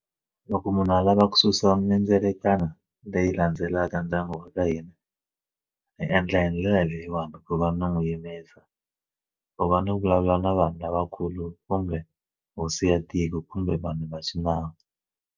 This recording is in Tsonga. Loko munhu a lava ku susa mindzelakano leyi landzelaka ndyangu wa ka hina i endla hi ndlela leyiwani ku va ni n'wi yimisa ku va ni vulavula na vanhu lavakulu kumbe hosi ya tiko kumbe vanhu va xinawu.